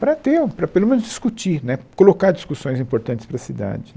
para ter, para pelo menos discutir né, colocar discussões importantes para a cidade.